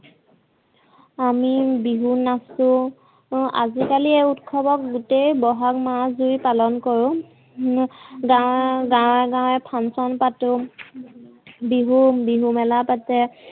আমি বিহু নাছো। আজিকালি এই উৎসৱক গোটেই বহাগ মাহতোৱে পালন কৰো হম গাৱে গাৱে পাতো বিহু বিহুমেলা পাতে